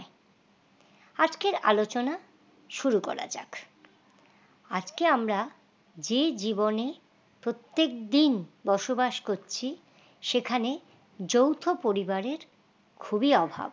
আজকের আলোচনা শুরু করা যাক আজকে আমরা যে জীবনের প্রত্যেকদিন বসবাস করছি সেখানে যৌথ পরিবারের খুবই অভাব